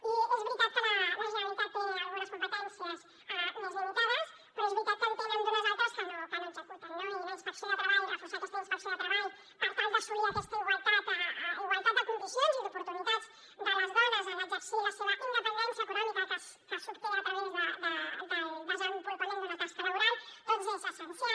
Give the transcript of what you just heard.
i és veritat que la generalitat té algunes competències més limitades però és veritat que en tenen unes altres que no executen no i en la inspecció de treball reforçar aquesta inspecció de treball per tal d’assolir aquesta igualtat de condicions i d’oportunitats de les dones en exercir la seva independència econòmica que s’obté a través del desenvolupament d’una tasca laboral doncs és essencial